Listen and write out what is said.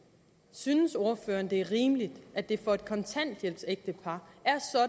synes ordføreren det er rimeligt at det for et kontanthjælpsægtepar